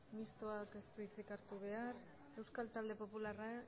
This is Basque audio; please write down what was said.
mistoak ez du hitzik hartu behar euskal talde popularra